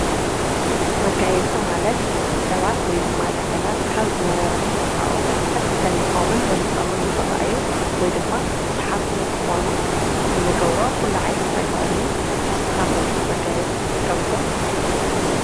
መጋየጽ ማለት ሰባት ወይ ድማ ነገራት ካብ ዝነበሮም ተፈጥረኦዊ መልከእ ደሚቂምን በሊጾምን ንኽረአዩ ወይ ድማ ሰሓብቲ ንክኾኑ እንገብሮ ዂላዓይኒት ተግባርዩ ንስኻቶም መጋየጽ ትጥቀሙዶ?